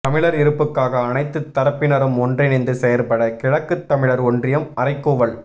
தமிழர் இருப்புக்காக அனைத்துத் தரப்பினரும் ஒன்றிணைந்து செயற்பட கிழக்குத் தமிழர் ஒன்றியம் அறைகூவல்